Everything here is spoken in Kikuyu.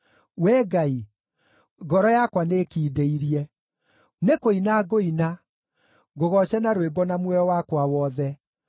Wee Ngai, ngoro yakwa nĩĩkindĩirie; nĩkũina ngũina, ngũgooce na rwĩmbo na muoyo wakwa wothe.